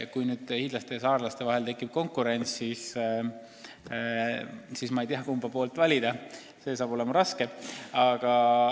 Kui hiidlaste ja saarlaste vahel tekib konkurents, siis ma ei tea, kumba valida – see saab olema raske.